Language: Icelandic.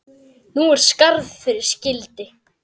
Nú er skarð fyrir skildi.